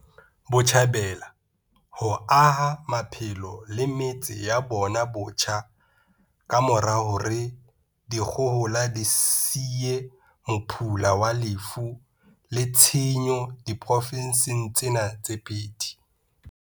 Botjhabela ho aha maphelo le metse ya bona botjha ka mora hore dikgohola di siye mophula wa lefu le tshenyo diprofenseng tsena tse pedi.